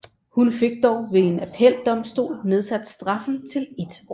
Hun fik dog ved en appeldomstol nedsat straffen til et år